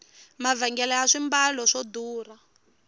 mavhengele ya swimbalo swa durha